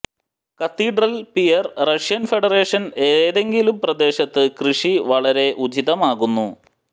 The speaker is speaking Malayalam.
കത്തീഡ്രൽ പിയർ റഷ്യൻ ഫെഡറേഷൻ ഏതെങ്കിലും പ്രദേശത്ത് കൃഷി വളരെ ഉചിതമാകുന്നു